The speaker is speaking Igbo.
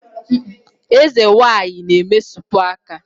Eze nwanyị na-emesapụ aka